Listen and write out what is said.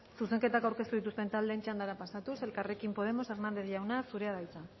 zuzenketak aurkeztu dituzten taldeen txandara pasatuz elkarrekin podemos hernández jauna zurea da hitza